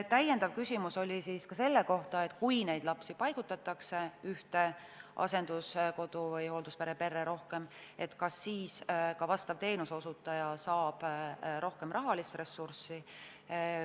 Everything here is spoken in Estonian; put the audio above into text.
Täpsustav küsimus oli selle kohta, et kui lapsi paigutatakse ühte asenduskodu või hoolduspere perre rohkem, kas siis ka teenuseosutaja saab rohkem rahalist ressurssi.